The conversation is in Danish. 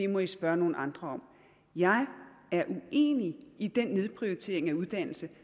må vi spørge nogle andre om jeg er uenig i den nedprioritering af uddannelse